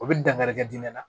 O bɛ dankari kɛ diɲɛ na